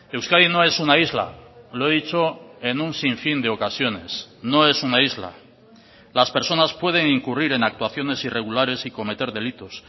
euskadi no es una isla lo he dicho en un sinfín de ocasiones no es una isla las personas pueden incurrir en actuaciones irregulares y cometer delitos